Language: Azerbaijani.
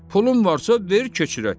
Pulun varsa, ver, keçirək.